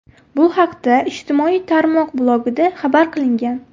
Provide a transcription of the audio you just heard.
Bu haqda ijtimoiy tarmoq blogida xabar qilingan .